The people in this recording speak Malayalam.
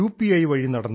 ഐ വഴി നടന്നു